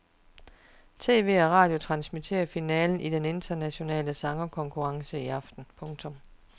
TV og radio transmitterer finalen i den internationale sangerkonkurrence i aften. punktum